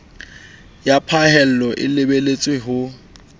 ya phahello e lebelletswe ho